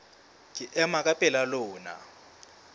ke ema ka pela lona